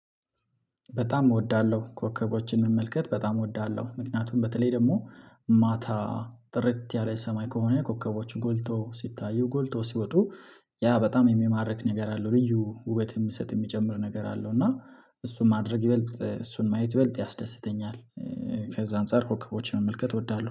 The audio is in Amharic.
በጣም እወዳለሁ ኮከቦችን እመልከት በጣም እወዳለሁ ምክንያቱም በተለይ ደግሞ ማታ ጥርት ያለ ሰማይ ከሆነ ኮከቦችን ጎልቶ ሲታዩ ጎልቶ ሲወጡ ያ በጣም የሚማርክ ነገር አለው። ልዩ ውበት የምሰጥ የምጨምር ነገር አለው። እና እሱን ማድረግ ይበልጥ እሱን ማየት ይበልጥ ያስደስተኛል። ከዛ አንፃር ኮከቦችን መመልከት እወዳለሁ